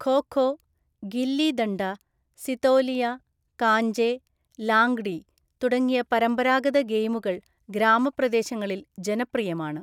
ഖോ ഖോ, ഗില്ലി ദണ്ഡ, സിതോലിയ, കാഞ്ചെ, ലാംഗ്ഡി തുടങ്ങിയ പരമ്പരാഗത ഗെയിമുകൾ ഗ്രാമപ്രദേശങ്ങളിൽ ജനപ്രിയമാണ്.